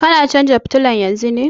Kana canza fitilan yanzun ne?